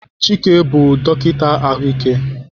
Chike bụ dọkịta ahụike.